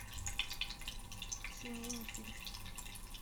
семейный фильм